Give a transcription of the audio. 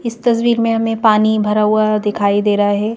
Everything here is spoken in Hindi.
इस तस्वीर में हमें पानी भरा हुआ दिखाई दे रहा है।